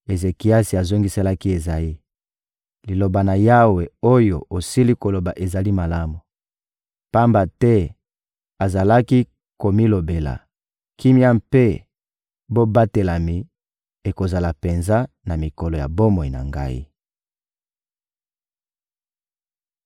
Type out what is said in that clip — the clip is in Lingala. Ezekiasi azongiselaki Ezayi: — Liloba na Yawe oyo osili koloba ezali malamu. Pamba te azalaki komilobela: «Kimia mpe bobatelami ekozala penza na mikolo ya bomoi na ngai.»